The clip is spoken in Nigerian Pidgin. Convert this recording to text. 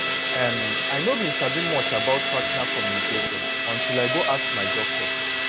em i been no really sabi much about partner communication until i go ask my doctor.